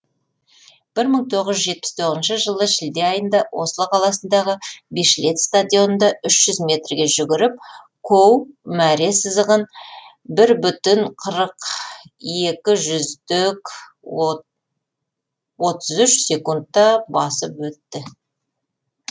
бір мың тоғыз жүз жетпіс тоғызыншы жылы шілде айында осло қаласындағы бишлет стадионында сегіз жүз мертге жүгіріп коу мәре сызығын бір бүтін қырық екі жүздік отыз үш секундта басып өтті